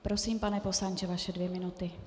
Prosím, pane poslanče, vaše dvě minuty.